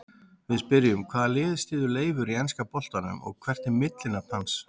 Við spyrjum: Hvaða lið styður Leifur í enska boltanum og hvert er millinafn hans?